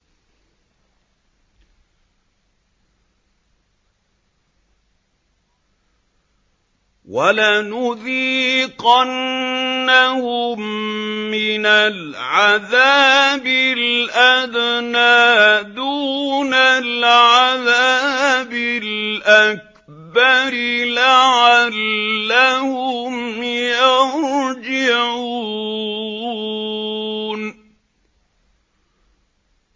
وَلَنُذِيقَنَّهُم مِّنَ الْعَذَابِ الْأَدْنَىٰ دُونَ الْعَذَابِ الْأَكْبَرِ لَعَلَّهُمْ يَرْجِعُونَ